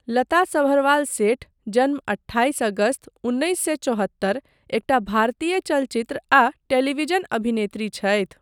लता सभरवाल सेठ, जन्म अट्ठाइस अगस्त उन्नैस सए चौहत्तर, एकटा भारतीय चलचित्र आ टेलीविज़न अभिनेत्री छथि।